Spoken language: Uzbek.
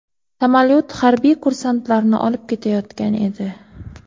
Samolyot harbiy kursantlarni olib ketayotgan edi.